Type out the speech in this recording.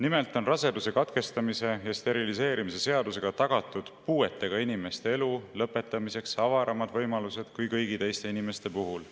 Nimelt on raseduse katkestamise ja steriliseerimise seadusega tagatud puuetega inimeste elu lõpetamiseks avaramad võimalused kui kõigi teiste inimeste puhul.